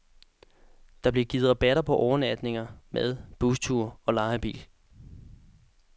Der bliver givet rabatter på overnatninger, mad, busture og leje af bil.